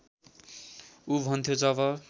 उ भन्थ्यो जब